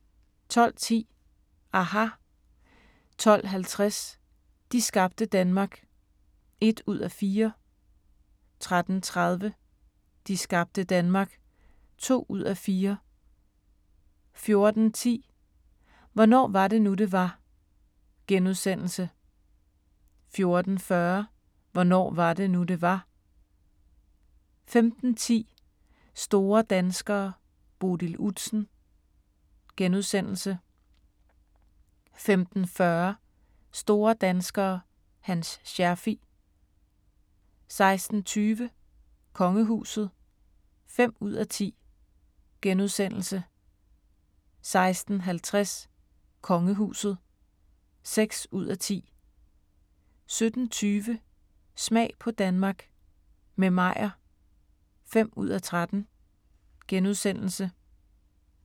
12:10: aHA! 12:50: De skabte Danmark (1:4) 13:30: De skabte Danmark (2:4) 14:10: Hvornår var det nu, det var? * 14:40: Hvornår var det nu, det var? 15:10: Store danskere: Bodil Udsen * 15:40: Store danskere – Hans Scherfig 16:20: Kongehuset (5:10)* 16:50: Kongehuset (6:10) 17:20: Smag på Danmark – med Meyer (5:13)*